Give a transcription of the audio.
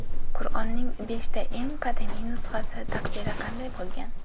Qur’onning beshta eng qadimiy nusxasi taqdiri qanday bo‘lgan?.